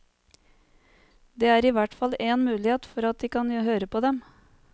Det er i hvert fall en mulighet for at de kan høre på dem.